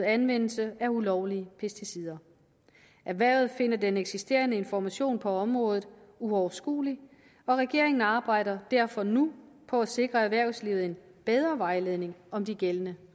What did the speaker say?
anvendelse af ulovlige pesticider erhvervet finder den eksisterende information på området uoverskuelig og regeringen arbejder derfor nu på at sikre erhvervslivet en bedre vejledning om de gældende